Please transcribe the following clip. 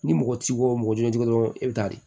Ni mɔgɔ t'i bolo mɔgɔ jolendon dɔrɔn i bɛ taa di